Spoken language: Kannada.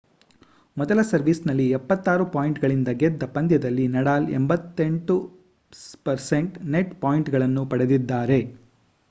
ಮೊದಲ ಸರ್ವೀಸ್‌ನಲ್ಲಿ 76 ಪಾಯಿಂಟ್‌ಗಳಿಂದ ಗೆದ್ದ ಪಂದ್ಯದಲ್ಲಿ ನಡಾಲ್ 88% ನೆಟ್‌ ಪಾಯಿಂಟ್‌ಗಳನ್ನು ಪಡೆದಿದ್ದಾರೆ